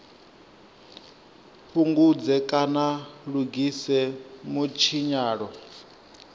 fhungudze kana a lugise mutshinyalo